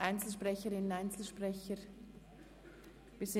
Wünschen Einzelsprecherinnen, Einzelsprecher das Wort?